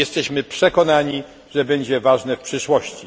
Jesteśmy przekonani, że będzie ono ważne w przyszłości.